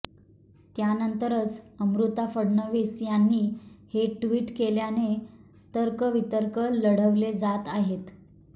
त्यानंतरच अमृता फडणवीस यांनी हे ट्विट केल्याने तर्कवितर्क लढवले जात आहेत